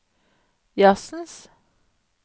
jazzens